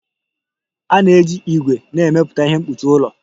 A na-eji ígwè na-emepụta ihe mkpuchi ụlọ